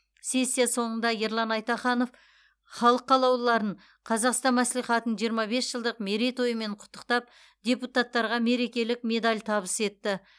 сессия соңында ерлан айтаханов халық қалаулыларын қазақстан мәслихатының жиырма бес жылдық мерейтойымен құттықтап депутаттарға мерекелік медаль табыс етті